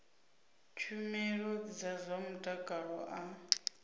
tshumelo dza zwa mutakalo a